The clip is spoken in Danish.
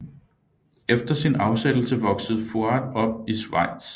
Efter sin afsættelse voksede Fuad op i Schweiz